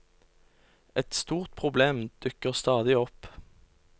Et stort problem dukker stadig opp.